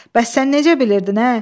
Bəs sən necə bilirdin, ə?